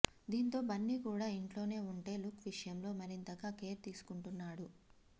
దీంతో బన్నీ కూడా ఇంట్లో నే ఉంటే లుక్ విషయంలో మరింతగా కేర్ తీసుకుంటున్నాడు